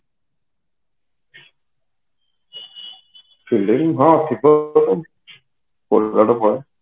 film ହଁ ଥିବ